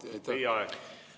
Hea küsija, teie aeg!